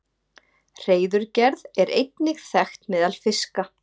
Hreiðurgerð er einnig þekkt meðal fiska.